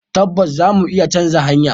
Tabbas za mu iya canza hanyar.